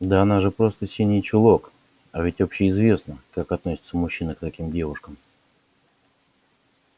да она же просто синий чулок а ведь общеизвестно как относятся мужчины к таким девушкам